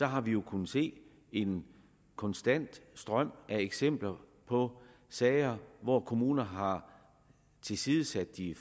har vi jo kunnet se en konstant strøm af eksempler på sager hvor kommuner har tilsidesat de